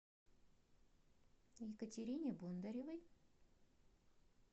екатерине бондаревой